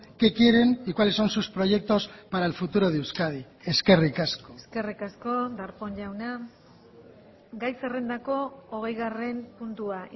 qué quieren y cuáles son sus proyectos para el futuro de euskadi eskerrik asko eskerrik asko darpón jauna gai zerrendako hogeigarren puntua